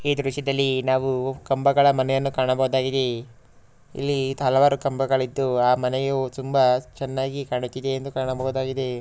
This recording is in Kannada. ಈ ದೃಶ್ಯದಲ್ಲಿ ನಾವು ಕಂಬಗಳ ಮನೆಯನ್ನು ಕಾಣಬಹುದಾಗಿದೆ ಇಲ್ಲಿ ಹಲವಾರು ಕಂಬಗಳಿದ್ದು ಆ ಮನೆಯು ತುಂಬಾ ಚೆನ್ನಾಗಿ ಕಾಣುತ್ತಿದೆ ಎಂದು ಕಾಣಬಹುದಾಗಿದೆ .